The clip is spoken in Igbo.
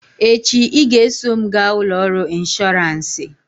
echi ị ga-eso m gaa ụlọ ọrụ ịnshọọransị!